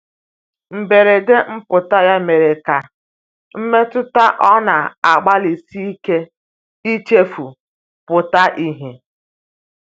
mgberede mputa ya mere ka mmetụta ọ na agbali sike ichefu pụta ihe